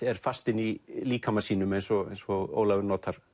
er fast inni í líkama sínum eins og eins og Ólafur